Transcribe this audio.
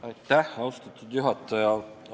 Aitäh, austatud juhataja!